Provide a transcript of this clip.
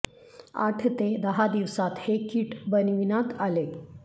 आठ ते दहा दिवसात हे किट बनविण्यात आले